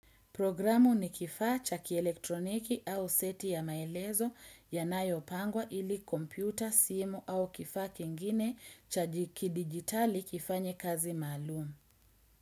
Programu ni kifaa cha kielektroniki au seti ya maelezo yanayo pangwa ili kompyuta, simu au kifaa kingine cha kidigitali kifanye kazi maalum.